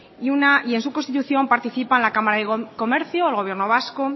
y en su constitución participan la cámara de comercio el gobierno vasco